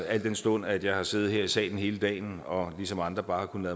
al den stund at jeg har siddet her i salen hele dagen og ligesom andre bare har kunnet